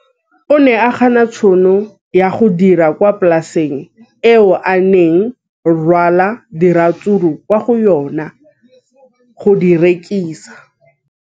O ne a gana tšhono ya go dira kwa polaseng eo a neng rwala diratsuru kwa go yona go di rekisa.